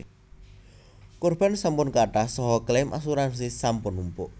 Korban sampun kathah saha claim asuransi sampun numpuk